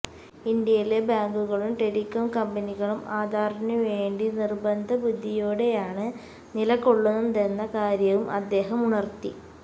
ഇന്ത്യയിലെ ബാങ്കുകളും ടെലികോം കമ്പനികളും ആധാറിനു വേണ്ടി നിർബന്ധബുദ്ധിയോടെയാണ് നിലകൊള്ളുന്നതെന്ന കാര്യവും അദ്ദേഹം ഉണർത്തി